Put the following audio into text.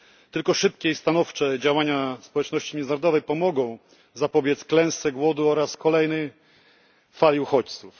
Tylko szybkie i stanowcze działania społeczności międzynarodowej pomogą zapobiec klęsce głodu oraz kolejnej fali uchodźców.